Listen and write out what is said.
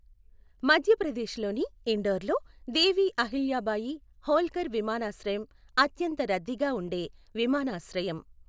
మధ్యప్రదేశ్లోని ఇండోర్లో దేవీ అహిల్యాబాయి హోల్కర్ విమానాశ్రయం అత్యంత రద్దీగా ఉండే విమానాశ్రయం.